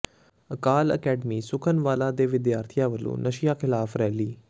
ਅਕਾਲ academy Sukhanwala ਦੇ ਵਿਦਿਆਰਥੀਆਂ ਵਲੋਂ ਨਸ਼ਿਆਂ ਿਖ਼ਲਾਫ਼ ਰੈਲੀ